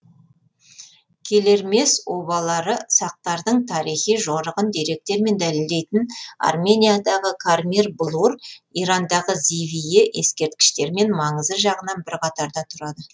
келермес обалары сақтардың тарихи жорығын деректермен дәлелдейтін армениядағы кармир блур ирандағы зивие ескерткіштерімен маңызы жағынан бір қатарда тұрады